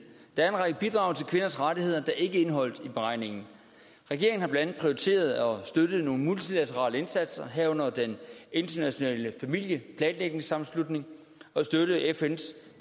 der er en række bidrag til kvinders rettigheder der ikke er indeholdt i beregningen regeringen har blandt andet prioriteret at støtte nogle multilaterale indsatser herunder den internationale familieplanlægningssammenslutning fns